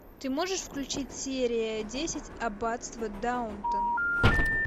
ты можешь включить серия десять аббатство даунтон